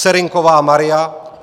Serynková Maria